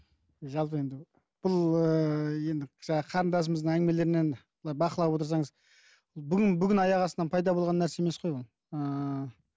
жалпы енді бұл ыыы енді жаңағы қарындасымыздың әңгімелерінен былай бақылап отырсаңыз бүгін бүгін аяқ астынан пайда болған нәрсе емес қой ол ыыы